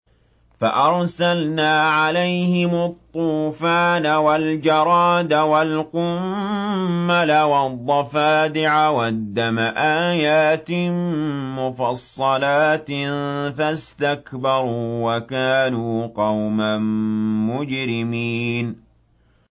فَأَرْسَلْنَا عَلَيْهِمُ الطُّوفَانَ وَالْجَرَادَ وَالْقُمَّلَ وَالضَّفَادِعَ وَالدَّمَ آيَاتٍ مُّفَصَّلَاتٍ فَاسْتَكْبَرُوا وَكَانُوا قَوْمًا مُّجْرِمِينَ